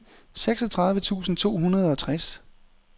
seksogtredive tusind to hundrede og tres